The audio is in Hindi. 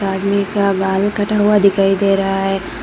आदमी का बाल कटा हुआ दिखाई दे रहा है।